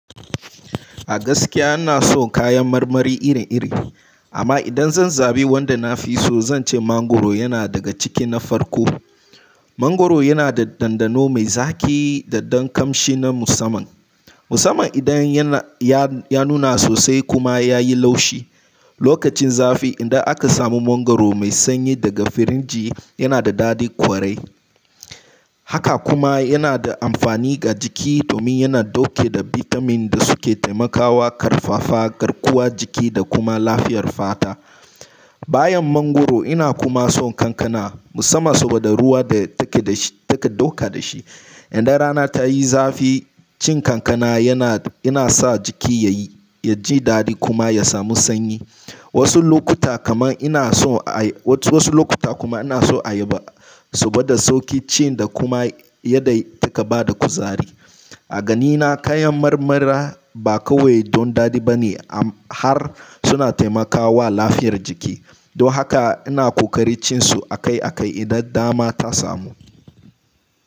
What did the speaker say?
A gaskiya ina son kayan marmari iri-iri, amma idan zan zabi wanda na fi so, zan ce mangwaro yana daga ciki na farko. Mangwaro yana da dandano mai zaƙi da ɗan kamshi na musaman. Musaman idan ya, ya nuna sosai kuma ya yi laushi. Lokacin zafi idan aka samu mangwaro mai sanyi daga firinji yana da daɗin kwarai. Haka kuma yana da amfani ga jiki domin yana ɗauke da bitamin da suke taimakawa ƙarfafa garkuwar jiki da kuma lafiyar fata. Bayan mangwaro ina kuma son kankana musamman saboda ruwa da take da shi, take ɗauka da shi. Idan rana ta yi zafi, cin kankana yana, yana sa jiki ya yi, ya ji daɗi kuma ya samu sanyi. Wasu lokuta kamar ina so a yi, wasu lokuta kuma ina so a yi ba saboda sauƙi ci da kuma yadda ya take bada kuzari. A ganina kayan marmara ba kawai don daɗi ba ne har suna taimakawa lafiyar jiki. Don haka ina ƙoƙari cin su akai-akai idan dama ta samu.